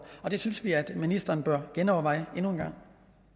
det synes vi at ministeren bør genoverveje endnu en gang